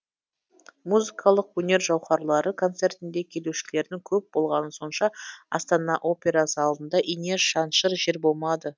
музыкалық өнер жауһарлары концертіне келушілердің көп болғаны сонша астана опера залында ине шаншыр жер болмады